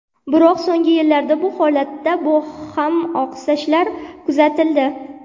Biroq so‘nggi yillarda bu holatda ham oqsashlar kuzatildi.